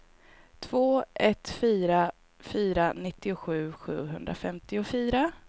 två ett fyra fyra nittiosju sjuhundrafemtiofyra